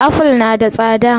Aful na da tsada